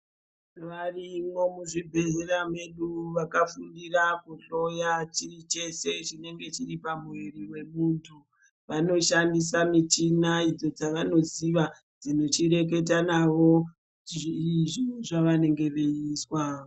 Varimo muzvibhedhlera medu vakafundira kuhloya chii chese chinenge chiri pamwiri vemuntu. Vanoshandisa michina idzo dzawanoziwa dzinochireketa nawo kuti zvii zvavanenge veizwa .